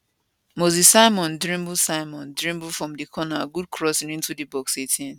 moses simon dribble simon dribble from di corner good crossing into di box 18